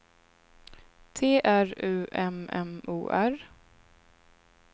T R U M M O R